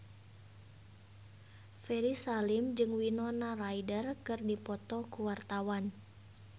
Ferry Salim jeung Winona Ryder keur dipoto ku wartawan